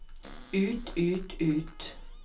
ut ut ut